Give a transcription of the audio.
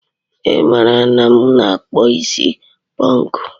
I mara na m na akpu isi ponku